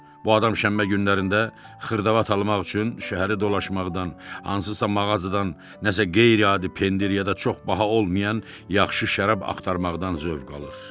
Bu adam şənbə günlərində xırdavat almaq üçün şəhəri dolaşmaqdan, hansısa mağazadan nəsə qeyri-adi pendir ya da çox baha olmayan yaxşı şərab axtarmaqdan zövq alır.